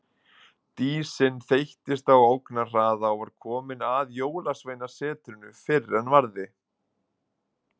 Dísin þeyttist á ógnarhraða og var komin að Jólasveinasetrinu fyrr en varði.